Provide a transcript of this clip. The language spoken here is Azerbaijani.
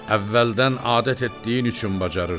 Əvvəldən adət etdiyin üçün bacarırsan.